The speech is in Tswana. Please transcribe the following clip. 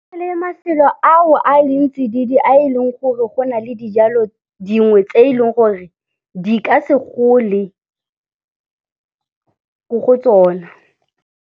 Mafelo ao a leng tsididi a e leng gore go na le dijalo dingwe tse e leng gore di ka se gole ko go tsona.